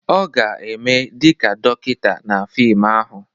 Ọ ga-eme dị ka dọkịta na fim ahụ.